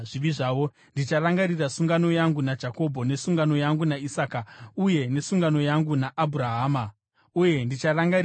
ndicharangarira sungano yangu naJakobho nesungano yangu naIsaka uye nesungano yangu naAbhurahama; uye ndicharangarira nyika iyi.